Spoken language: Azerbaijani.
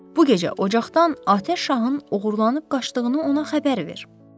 Bu gecə ocaqdan atəş şahın oğurlanıb qaçdığını ona xəbər ver.